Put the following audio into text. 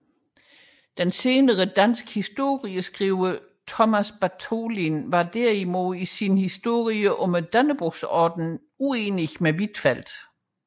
Den senere danske historieskriver Thomas Bartholin var derimod i sin historie om Dannebrogsordenen uenig med Huitfeldt